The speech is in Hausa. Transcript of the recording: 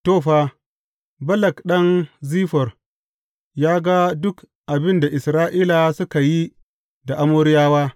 To, fa, Balak ɗan Ziffor ya ga duk abin da Isra’ila suka yi da Amoriyawa.